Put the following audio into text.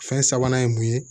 Fɛn sabanan ye mun ye